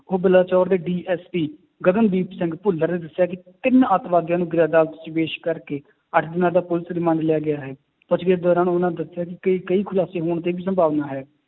ਉਹ ਬਲਾਚੋਰ ਦੇ DSP ਗਗਨਦੀਪ ਸਿੰਘ ਭੁੱਲਰ ਨੇ ਦੱਸਿਆ ਕਿ ਤਿੰਨ ਆਤੰਕਵਾਦੀਆਂ ਨੂੰ ਅਦਾਲਤ 'ਚ ਪੇਸ਼ ਕਰਕੇ ਅੱਠ ਦਿਨਾਂ ਦਾ ਪੁਲਿਸ remand ਲਿਆ ਗਿਆ ਹੈ, ਪੁੱਛ ਗਿੱਛ ਦੌਰਾਨ ਉਹਨਾਂ ਨੇ ਦੱਸਿਆ ਕਿ ਕਈ ਖੁਲਾਸੇ ਹੋਣ ਦੀ ਵੀ ਸੰਭਾਵਨਾ ਹੈ